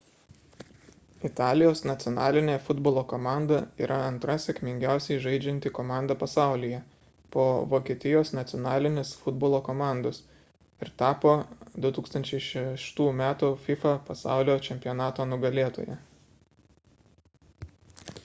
italijos nacionalinė futbolo komanda yra antra sėkmingiausiai žaidžianti komanda pasaulyje po vokietijos nacionalinės futbolo komandos ir tapo 2006 m fifa pasaulio čempionato nugalėtoja